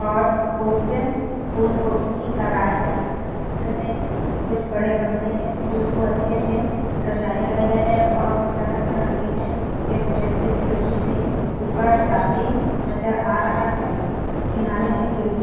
और कुछ फूल को भी लगाए हुए है कुछ बड़े गमले में फूल को अच्छे से सजाया गया है और वह तरह-तरह के है एक व्यक्ति सीढ़ी से ऊपर जाते नज़र आ रहा है किनारे में सीढ़ी-- .